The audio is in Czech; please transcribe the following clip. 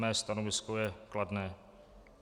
Mé stanovisko je kladné.